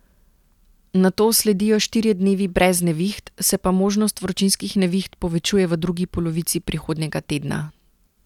Nato sledijo štirje dnevi brez neviht, se pa možnost vročinskih neviht povečuje v drugi polovici prihodnjega tedna.